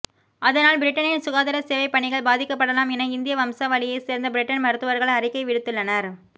அதனால் பிரிட்டனின் சுகாதார சேவைப் பணிகள் பாதிக்கப் படலாம் என இந்திய வம்சாவளியைச் சேர்ந்த பிரிட்டன் மருத்துவர்கள் அறிக்கை விடுத்துள்ளனர்